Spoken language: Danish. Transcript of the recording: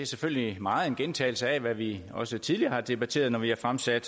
selvfølgelig meget en gentagelse af hvad vi også tidligere har debatteret når vi har fremsat